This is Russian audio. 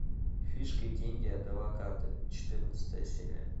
фишки деньги адвокаты четырнадцатая серия